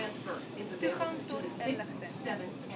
toegang tot inligting